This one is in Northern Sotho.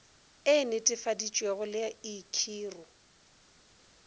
e netefaditšwego le i khiro